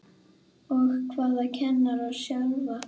Og hvað kennara sjálfa?